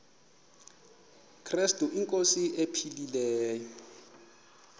krestu inkosi ephilileyo